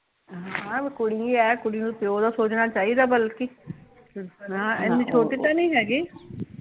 ਹਾਂ ਕੁੜੀ ਐ ਕੁੜੀ ਨੂ ਪਿਓ ਦਾ ਸੋਚਣਾ ਚਾਹੀਦਾ ਵਲਕਿ, ਹਾਂ ਏਨੀ ਛੋਟੀ ਤਾਂ ਨੀ ਹੈਗੀ